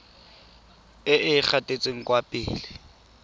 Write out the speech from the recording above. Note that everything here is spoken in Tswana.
e e gatetseng kwa pele